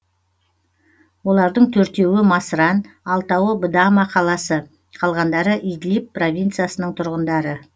олардың төртеуі масран алтауы бдама қаласы қалғандары идлип провинциясының тұрғындары